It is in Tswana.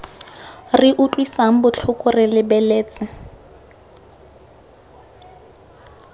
re utlwisang botlhoko re lebeletse